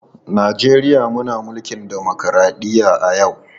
Najeriya muna mulkin dimokradɗiyya a yau.